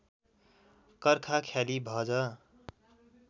कर्खा ख्याली भज